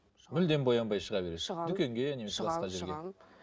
мүлдем боянбай шыға бересіз шығамын дүкеге шығамын шығамын